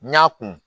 N y'a kun